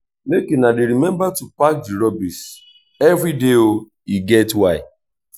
she dey make sure sey she wash di plate every night before she go sleep.